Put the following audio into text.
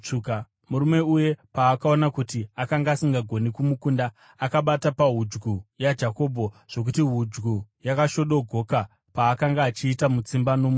Murume uye paakaona kuti akanga asingagoni kumukunda, akabata pahudyu yaJakobho zvokuti hudyu yakashodogoka paakanga achiita mutsimba nomunhu uyu.